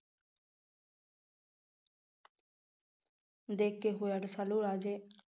ਦੇ ਕੇ ਹੋਇਆ, ਰਸਾਲੂ ਰਾਜੇ